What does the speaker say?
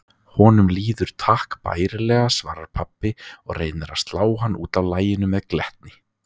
Honum líður takk bærilega, svarar pabbi og reynir að slá hana útaf laginu með glettni.